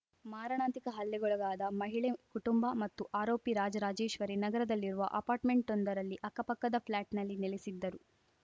ಮಾರಣಾಂತಿಕ ಹಲ್ಲೆಗೊಳಗಾದ ಮಹಿಳೆ ಕುಟುಂಬ ಮತ್ತು ಆರೋಪಿ ರಾಜರಾಜೇಶ್ವರಿ ನಗರದಲ್ಲಿರುವ ಅಪಾರ್ಟ್‌ಮೆಂಟ್‌ವೊಂದರಲ್ಲಿ ಅಕ್ಕಪಕ್ಕದ ಫ್ಲ್ಯಾಟ್‌ನಲ್ಲಿ ನೆಲೆಸಿದ್ದರು